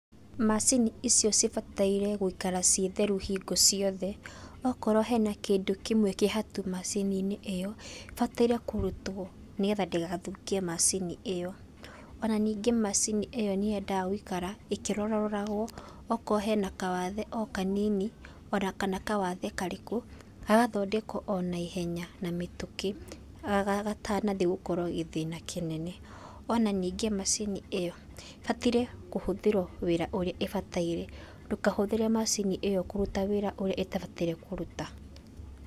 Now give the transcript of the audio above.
Macini icio cibataire gũikara cirĩ theru hindĩ ciothe, akorwo kwĩna kĩndũ kĩmwe kĩhatu macininĩ ĩyo kĩbatie kũrutwo nĩgetha ndĩgathũkie macini ĩyo, ona ningĩ macini ĩyo nĩyendaga gũikara ĩkĩroraroragwo okorwo hena kawathe o kanini kana ona kawathe ona karĩkũ, gagathondekwo na ihenya ona mĩtũkĩ gatanathi gũtuĩka gĩthĩna kĩnene, ona ningĩ macini ĩyo ĩbataire kũhũthĩrwo wĩra ũrĩa ĩbataire ndũkahũthĩre macini ĩyo kũrũta wĩra ũrĩa ĩtabataire kũruta.